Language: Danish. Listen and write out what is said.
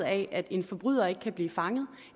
at en forbryder ikke kan blive fanget